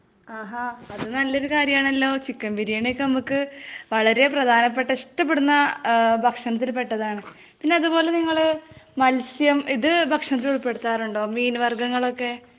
ആഹ്.അത് നല്ല ഒരു കാര്യം ആണല്ലോ .ചിക്കൻ ബിരിയാണി ഒക്കെ നമുക്കു വളരെ പ്രധാനപ്പെട്ട, ഇഷ്ടപെടുന്ന ഭക്ഷണത്തിൽ പെട്ടത് ആണ് .പിന്നെ അതുപോലെ നിങ്ങള് മത്സ്യം ,ഇത് ഭക്ഷണത്തിൽ ഉള്പെടുത്താറുണ്ടോ? മീൻ വർഗ്ഗങ്ങളൊക്കെ ?